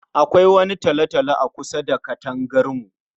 Akwai wani talo-talo akusa da katangar mu.